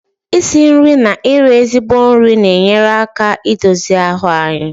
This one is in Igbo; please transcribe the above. isi nri na iri ezigbo nri na-enyere aka i dozi ahụ anyị